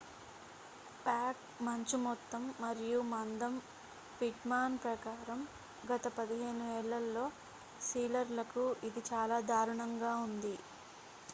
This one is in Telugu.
ప్యాక్ మంచు మొత్తం మరియు మందం పిట్మాన్ ప్రకారం గత 15 ఏళ్లలో సీలర్లకు ఇది చాలా దారుణంగా ఉంది